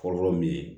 Fɔlɔfɔlɔ min ye